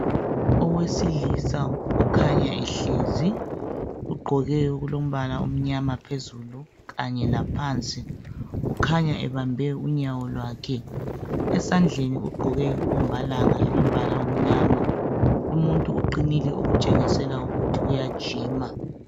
Owesilisa okhanya ehlezi ugqoke okulombala omnyama phezulu kanye laphansi kukhanya ebambe unyawo lwakhe esandleni ugqoke inkombalanga elombala omnyama lumuntu uqinile okutshengisela ukuthi uyajima.